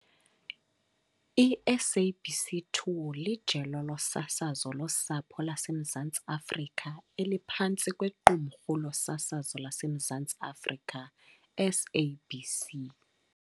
I-SABC 2 lijelo losasazo losapho laseMzantsi Afrika eliphantsi kweQumrhu losasazo laseMzantsi Afrika SABC.